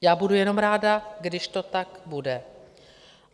Já budu jenom ráda, když to tak bude.